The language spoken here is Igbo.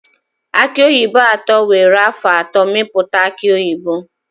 Aki oyibo atọ were afọ atọ mepụta aki oyibo.